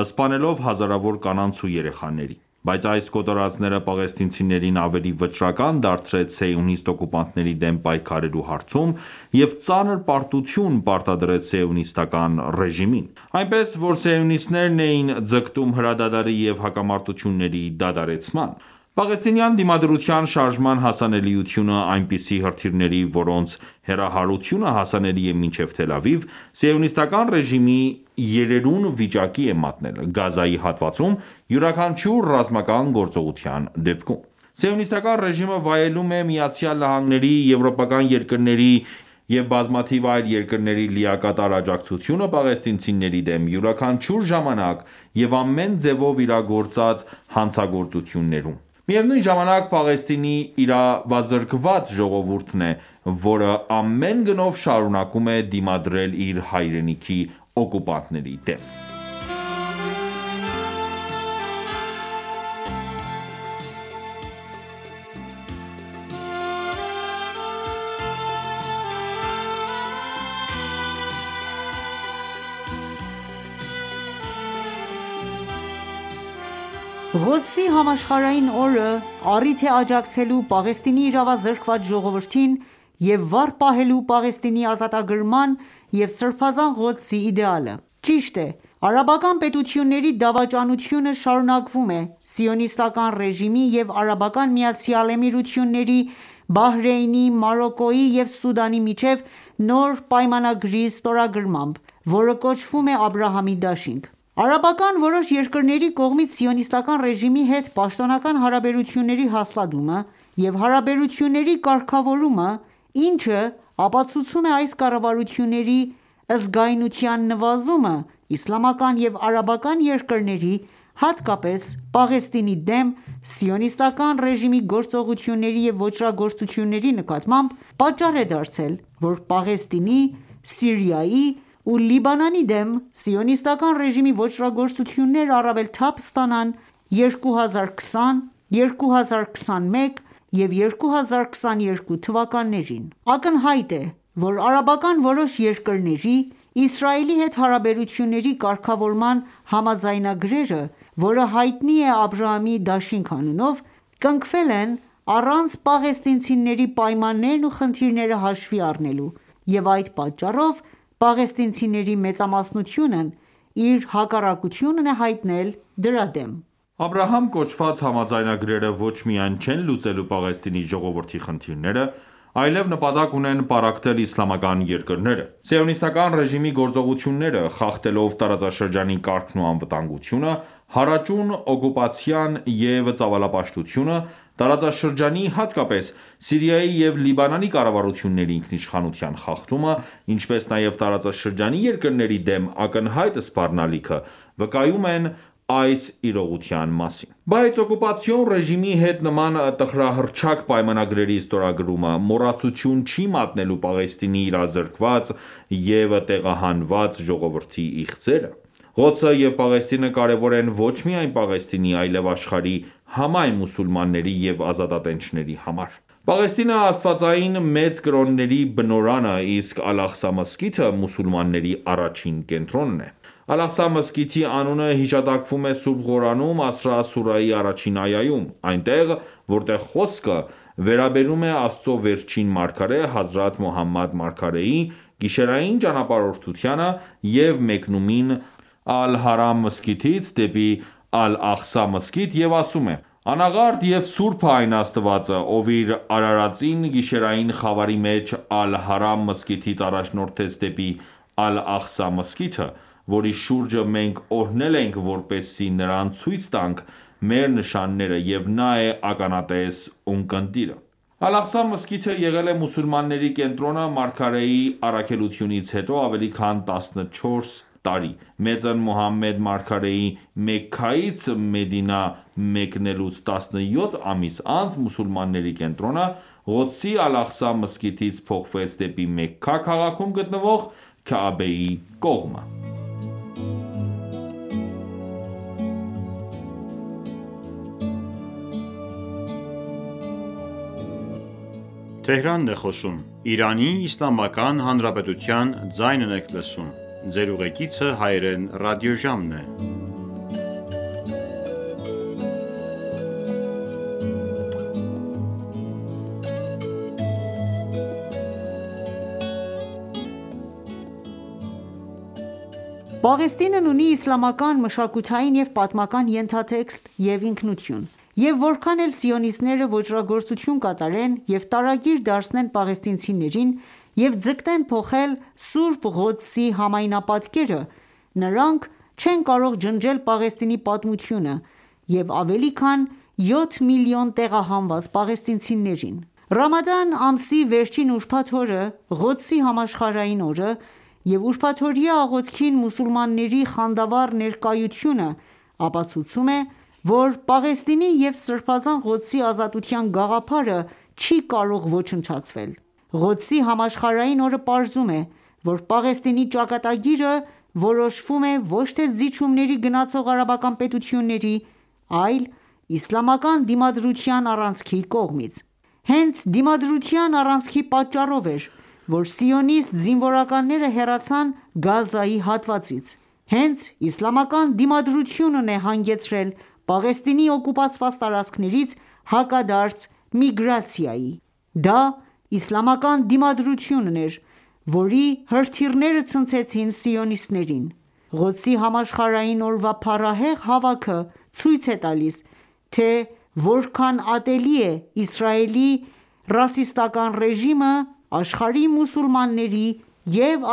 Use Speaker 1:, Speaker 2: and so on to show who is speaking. Speaker 1: սպանելով հազարավոր կանանց ու երեխաների:Բայց այս կոտորածները պաղեստինցիներին ավելի վճռական դարձրեց սիոնիստ օկուպանտների դեմ պայքարելու հարցում և ծանր պարտություն պարտադրեց սիոնիստական ​​ռեժիմին:Այնպես ,որ սիոնիստներն էին ձգտում հրադադարի և հակամարտությունների դադարեցման:Պաղեստինյան դիմադրության շարժման հասանելիությունը այնպիսի հրթիռների, որոնց հեռահարությունը հասանելի է մինչև Թել Ավիվ, սիոնիստական ​​ռեժիմին երերուն վիճակի է մատնել՝ Գազայի հատվածում յուրաքանչյուր ռազմական գործողության դեպքում:Սիոնիստական ​​ռեժիմը վայելում է ԱՄՆ-ի, եվրոպական երկրների և բազմաթիվ այլ երկրների լիակատար աջակցությունը պաղեստինցիների դեմ յուրաքանչյուր ժամանակ և ամեն ձևով իրագործած հանցագործություններում:Միևնույն ժամանակ, Պաղեստինի իրավազրկված ժողովուրդն է, որը ամեն գնով շարունակում է դիմադրել իր հայրենիքի օկուպանտների դեմ:
Speaker 2: Ղոդսի համաշխարհային օրը առիթ է աջակցելու Պաղեստինի իրավազրկված ժողովրդին և վառ պահելու Պաղեստինի ազատագրման և Սրբազան Ղոդսի իդեալը:Ճիշտ է, արաբական պետությունների դավաճանությունը շարունակվում է՝ սիոնիստական ​​ռեժիմի և Արաբական Միացյալ Էմիրությունների, Բահրեյնի, Մարոկկոյի և Սուդանի միջև նոր պայմանագրի ստորագրմամբ, որը կոչվում է «Աբրահամի դաշինք»:Արաբական որոշ երկրների կողմից սիոնիստական ​​ռեժիմի հետ պաշտոնական հարաբերությունների հաստատումը և հարաբերությունների կարգավորումը, ինչը ապացուցում է այս կառավարությունների զգայունության նվազումը՝իսլամական և արաբական երկրների, հատկապես Պաղեստինի դեմ սիոնիստական ​​ռեժիմի գործողությունների և ոճրագործությունների նկատմամբ, պատճառ է դարձել ,որ Պաղեստինի ,Սիրիայի ու Լիբանանի դեմ սիոնիստական ռեժիմի ոճրագործությոյնները առավել թափ ստանան 2020,2021և 2022 թվականներին: Ակնհայտ է, որ արաբական որոշ երկրների՝ Իսրայելի հետ հարաբերությունների կարգավորման համաձայնագրերը (որը հայտնի է Աբրահամի դաշինք անունով) կնքվել են առանց պաղեստինցիների պայմաններն ու խնդիրները հաշվի առնելու,և այդ պատճառով, պաղեստինցիների մեծամասնությունն իր հակառակությունն է հայտնել դրա դեմ:
Speaker 1: Աբրահամ կոչված համաձայնագրերը ոչ միայն չեն լուծելու Պաղեստինի ժողովրդի խնդիրները, այլեւ նպատակ ունեն պառակտել իսլամական երկրները։ Սիոնիստական ​​ռեժիմի գործողությունները՝ խախտելով տարածաշրջանի կարգն ու անվտանգությունը, հարաճուն օկուպացիան և ծավալապաշտությունը, տարածաշրջանի, հատկապես՝ Սիրիայի և Լիբանանի կառավարությունների ինքնիշխանության խախտումը, ինչպես նաև տարածաշրջանի երկրների դեմ ակնհայտ սպառնալիքը՝վկայում են այս իրողության մասին: Բայց օկուպացիոն ռեժիմի հետ նման տխրահռչակ պայմանագրերի ստորագրումը, մոռացության չի մատնելու Պաղեստինի իրավազրկված և տեղահանված ժողովրդի իղձերը։ Ղոդսը և Պաղեստինը կարևոր են ոչ միայն Պաղեստինի, այլև աշխարհի համայն մուսուլմանների և ազատատենչների համար:Պաղեստինը աստվածային մեծ կրոնների բնօրրանը, իսկ Ալ-Աղսա մզկիթը մուսուլմանների առաջին կենտրոնն է։ Ալ-Աղսա մզկիթի անունը հիշատակվում է Սուրբ Ղուրանում Ասրա սուրահի առաջին այայում, այնտեղ, որտեղ խոսքը վերաբերում է Աստծո վերջին մարգարե՝ Հազրաթ Մոհամմեդ մարգարեի, գիշերային ճանապարհորդությանը՝ և մեկնումին ՝Ալ-հարամ մզկիթից դեպի Ալ-Աղսա մզկիթ և ասում է«Անաղարտ և սուրբ է այն Աստվածը, ով իր արարածին գիշերային խավարի մեջ Ալ-Հարամ մզկիթից առաջնորդեց դեպի Ալ-Աղսա մզկիթը ,որի շուրջը մենք օրհնել ենք, որպեսզի նրան ցույց տանք մեր նշանները,և նա է ականատես ունկնդիրը»:Ալ-Աղսա մզկիթը եղել է մուսուլմանների կենտրոնը մարգարեի առաքելությունից հետո ավելի քան տասնչորս տարի:Մեծն Մոհամմեդ մարգարեի Մեքքայից Մեդինա մեկնելուց տասնյոթ ամիս անց, մուսուլմանների կենտրոնը Ղոդսի Ալ-Աղսա մզկիթից փոխվեց դեպի Մեքքա քաղաքում գտնվող Քաաբաեի կողմը:
Speaker 2: Պաղեստինն ունի իսլամական մշակութային և պատմական ենթատեքստ և ինքնություն, և որքան էլ սիոնիստները ոճրագործություն կատարեն և տարագիր դարձնեն պաղեստինցիներին և ձգտեն փոխել Սուրբ Ղոդսի համայնապատկերը, նրանք չեն կարող ջնջել Պաղեստինի պատմությունը և ավելի քան յոթ միլիոն տեղահանված պաղեստինցիներին: Ռամադան ամսի վերջին ուրբաթ օրը, Ղոդսի համաշխարհային օրը և ուրբաթօրյա աղոթքին մուսուլմանների խանդավառ ներկայությունը ապացուցում է, որ Պաղեստինի և Սրբազան Ղոդսի ազատության գաղափարը չի ​​կարող ոչնչացվել:Ղոդսի համաշխարհային օրը պարզում է, որ Պաղեստինի ճակատագիրը որոշվում է ոչ թե զիջումների գնացող արաբական պետությունների, այլ իսլամական դիմադրության առանցքի կողմից։ Հենց Դիմադրության առանցքի պատճառով էր ,որ սիոնիստ զինվորականները հեռացան Գազայի հատվածից: Հենց իսլամական դիմադրությունն է հանգեցրել Պաղեստինի օկուպացված տարածքներից հակադարձ միգրացիայի:Դա իսլամական դիմադրությունն էր, որի հրթիռները ցնցեցին սիոնիստներին:Ղոդսի համաշխարհային օրվա փառահեղ հավաքը ցույց է տալիս, թե որքան ատելի է Իսրայելի ռասիստական ​​ռեժիմը աշխարհի մուսուլմանների և